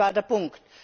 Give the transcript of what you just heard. Das war der Punkt!